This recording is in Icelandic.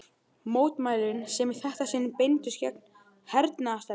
Mótmælin, sem í þetta sinn beindust gegn hernaðarstefnu